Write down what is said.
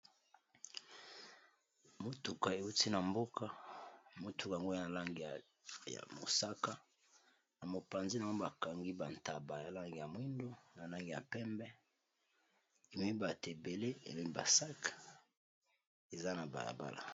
motuka euti na mboka motuk yango ya lange ya mosaka na mopanzi na o bakangi bantaba ya lange ya mwindu na langi ya pembe emibate ebele emebasak eza na bayabala